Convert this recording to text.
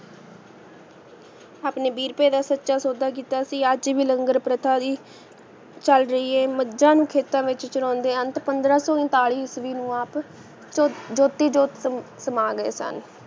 ਆਪਣੀ ਬੀ ਰੂਪੀ ਦਾ ਸਤਯ ਸੋਦਾ ਕਿੱਤਾ ਸੀ ਅਜੇ ਵੀ ਲੰਗਰ ਫਾਰ੍ਤਾਲੀ ਚਲ ਜਾਇਏ ਮਜਾ ਨੂ ਖੇਤਾ ਵਿਚ ਚਾਰੋੰਦੇ ਅੰਤ ਪੰਦਰਾ ਸੋ ਊਂਤਾਲੀ ਈਸਵੀ ਨੂ ਆਪ ਚੋ ਜੋਤੀ ਜੋਤ ਨੂ ਸਮਾਂ ਗਏ ਸਨ